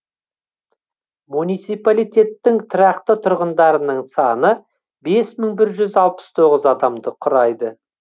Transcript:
муниципалитеттің тұрақты тұрғындарының саны бес мың бір жүз алпыс тоғыз адамды құрайды